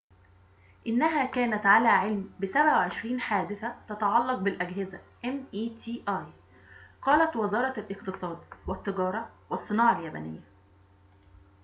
قالت وزارة الاقتصاد، والتجارة، والصناعة اليابانية meti إنها كانت على علم بـ 27 حادثة تتعلق بالأجهزة